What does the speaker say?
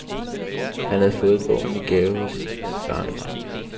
Han havde fået bogen i gave af sit barnebarn.